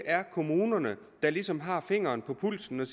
kommunerne der ligesom har fingeren på pulsen og